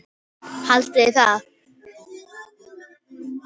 Haldiði það?